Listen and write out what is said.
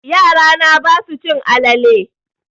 Yara na basu cin alale.